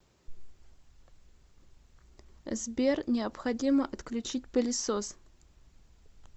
сбер необходимо отключить пылесос